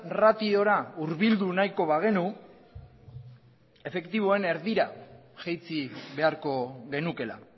ratiora hurbildu nahiko bagenu efektiboen erdira jaitsi beharko genukeela